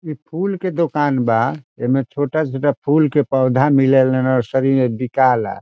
इ फूल के दुकान बा | एमे छोटा छोटा फूल के पौध मिले ला नर्सरी में बिकाए ला |